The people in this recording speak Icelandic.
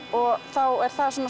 þá er það